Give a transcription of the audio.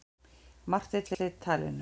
Marteinn sleit talinu.